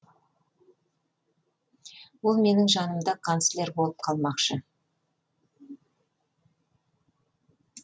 ол менің жанымда канцлер болып қалмақшы